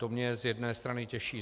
To mě z jedné strany těší.